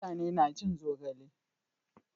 mutane na cin zogale